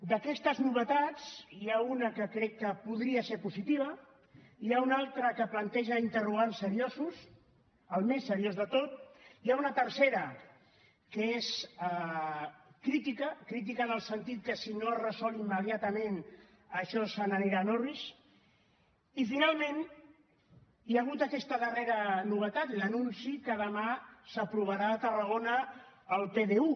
d’aquestes novetats n’hi ha una que crec que podria ser positiva n’hi ha una altra que planteja interrogants seriosos el més seriós de tot n’hi ha una tercera que és crítica crítica en el sentit que si no es resol immediatament això se n’anirà en orris i finalment hi ha hagut aquesta darrera novetat l’anunci que demà s’aprovarà a tarragona el pdu